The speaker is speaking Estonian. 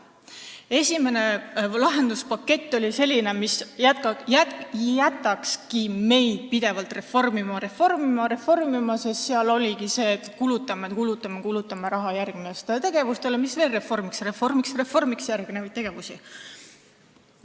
Esimene lahenduspakett on selline, mis jätakski meid pidevalt reformina, reformima ja reformima, sest seal oligi ette nähtud nii, et kulutame, kulutame ja kulutame raha järgmistele tegevustele, mis veel reformiks, reformiks ja reformiks järgmisi tegevusi.